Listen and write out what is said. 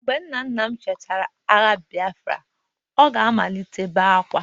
mgbe nna nna m chetara agha Biafra, o ga-amalite ibe akwa